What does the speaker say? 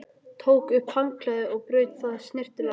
Tók upp handklæðið og braut það snyrtilega saman.